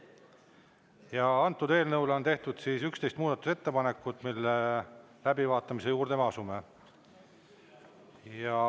Ja antud eelnõule on tehtud 11 muudatusettepanekut, mille läbivaatamise juurde me asume.